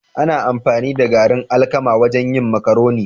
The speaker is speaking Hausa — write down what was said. Ana amfani da garin alkama wajen yin marcaroni